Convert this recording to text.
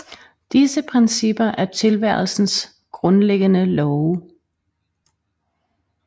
Disse principper er tilværelsens grundlæggende love